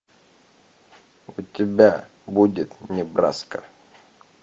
у тебя будет небраска